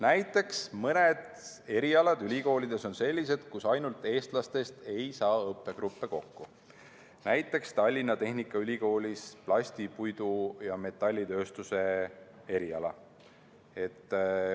Näiteks on mõned erialad ülikoolides sellised, kus ainult eestlastest ei saa õppegruppe kokku, näiteks Tallinna Tehnikaülikoolis plasti-, puidu- ja metallitööstuse eriala.